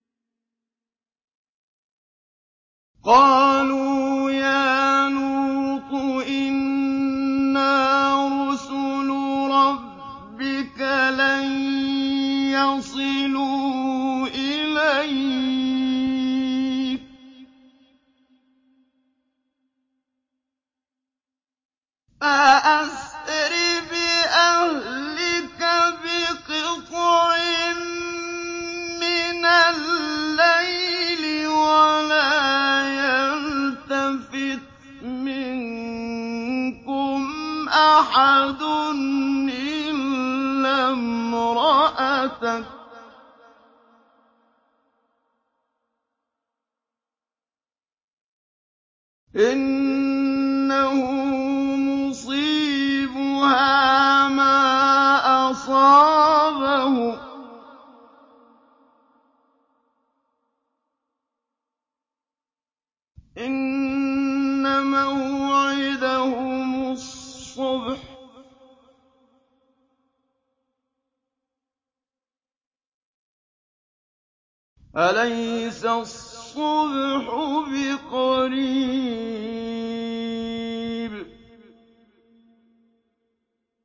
قَالُوا يَا لُوطُ إِنَّا رُسُلُ رَبِّكَ لَن يَصِلُوا إِلَيْكَ ۖ فَأَسْرِ بِأَهْلِكَ بِقِطْعٍ مِّنَ اللَّيْلِ وَلَا يَلْتَفِتْ مِنكُمْ أَحَدٌ إِلَّا امْرَأَتَكَ ۖ إِنَّهُ مُصِيبُهَا مَا أَصَابَهُمْ ۚ إِنَّ مَوْعِدَهُمُ الصُّبْحُ ۚ أَلَيْسَ الصُّبْحُ بِقَرِيبٍ